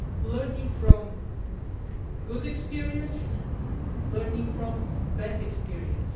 Learning from good experience and learning from bad experience.